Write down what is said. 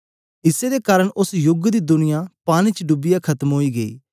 इस्से दे कारन ओस युग दा दुनिया पानी च डूबिये खत्म ओई गीया